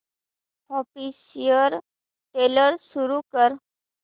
official trailer सुरू कर